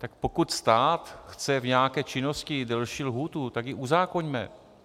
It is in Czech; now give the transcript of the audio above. Tak pokud stát chce v nějaké činnosti delší lhůtu, tak ji uzákoňme.